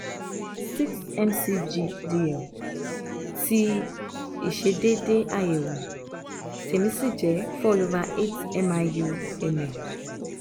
six mc/gdl tí ìṣedéédé àyẹ̀wò tèmi sì jẹ́ four over eight miu/ml